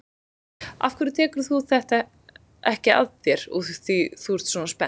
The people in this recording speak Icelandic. Af hverju tekur þú þetta ekki að þér úr því að þú ert svona spennt?